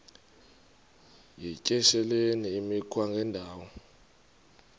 yityesheleni imikhwa engendawo